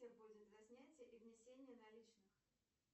будет за снятие и внесение наличных